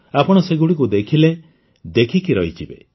ଆପଣ ସେଗୁଡ଼ିକୁ ଦେଖିଲେ ଦେଖିକି ରହିଯିବେ